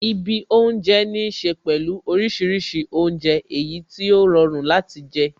Ibi oúnjẹ ní ṣe pẹ̀lú orísìírísìí oúnjẹ, èyí tí ó rọrùn láti jẹ